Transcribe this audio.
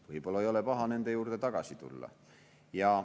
Võib-olla ei ole paha nende juurde tagasi tulla.